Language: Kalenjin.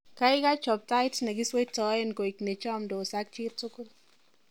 kaigai chob tait negisweitoen koit nechomdos ak jitugul